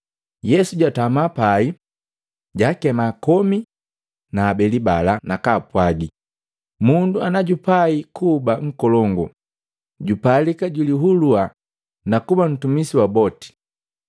Yesu jwatama pai, jwaakema komi na habeli bala, nakapwaagi, “Mundu najupai kuba nkolongu jupalika julihulua na kuba ntumisi wa boti.”